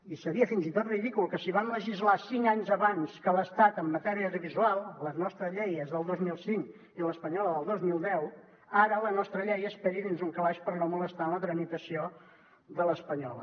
i seria fins i tot ridícul que si vam legislar cinc anys abans que l’estat en matèria audiovisual la nostra llei és del dos mil cinc i l’espanyola del dos mil deu ara la nostra llei esperi dins un calaix per no molestar la tramitació de l’espanyola